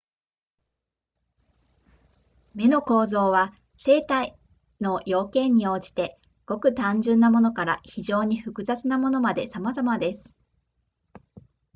眼の構造は生体の要件に応じてごく単純なものから非常に複雑なものまでさまざまです